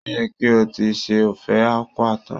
Ó yẹ kí o ti se Ofe Akwu tán!